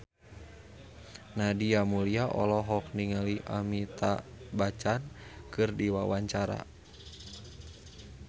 Nadia Mulya olohok ningali Amitabh Bachchan keur diwawancara